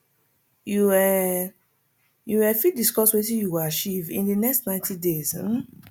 you um you um fit discuss wetin you go achieve in di next 90 days um